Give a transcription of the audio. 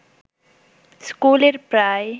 স্কুলের প্রায়